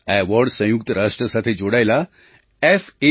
આ એવૉર્ડ સંયુક્ત રાષ્ટ્ર સાથે જોડાયેલા f